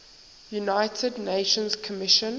united nations commission